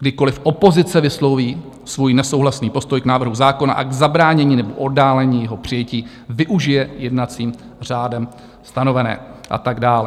Kdykoliv opozice vysloví svůj nesouhlasný postoj k návrhu zákona a k zabránění nebo oddálení jeho přijetí, využije jednacím řádem stanovené... a tak dále.